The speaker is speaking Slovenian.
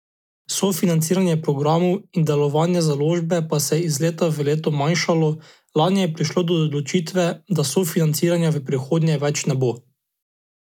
Sofinanciranje programov in delovanje založbe pa se je iz leta v leto manjšalo, lani je prišlo do odločitve, da sofinanciranja v prihodnje več ne bo.